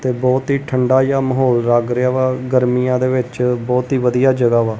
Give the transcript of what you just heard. ਤੇ ਬਹੁਤ ਹੀ ਠੰਡਾ ਜਿਹਾ ਮਾਹੌਲ ਲੱਗ ਰਿਹਾ ਵਾ। ਗਰਮੀਆਂ ਦੇ ਵਿੱਚ ਬਹੁਤ ਹੀ ਵਧੀਆ ਜਗ੍ਹਾ ਵਾਂ।